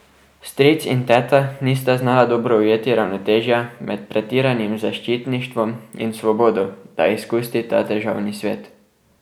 Stric in teta nista znala dobro ujeti ravnotežja med pretiranim zaščitništvom in svobodo, da izkusi ta težavni svet.